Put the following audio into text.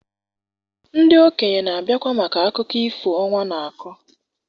ndị okenye na-abịakwa maka akụkọ ifo ọnwa na-akọ?